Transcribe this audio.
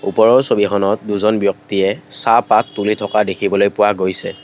ওপৰৰ ছবিখনত দুজন ব্যক্তিয়ে চাহ পাত তুলি থকা দেখিবলৈ পোৱা গৈছে।